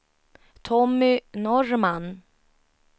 Tommy Norrman